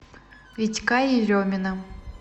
витька еремина